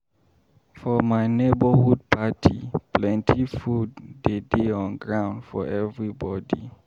For my neborhood party, plenty food dey dey on ground for everybodi.